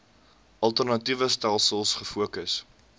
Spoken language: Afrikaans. alternatiewe stelsels gefokus